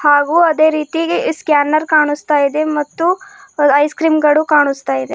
ಹಾಗು ಅದೇ ರೀತಿಗೆ ಈ ಸ್ಕ್ಯಾನರ್ ಕಾಣಿಸ್ತಾಯಿದೆ ಮತ್ತು ಐಸ್ ಕ್ರೀಂ ಗಳು ಕಾಣುಸ್ತಾ ಇದೆ.